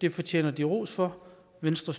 det fortjener de ros for venstre